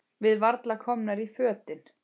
Við varla komnar í fötin.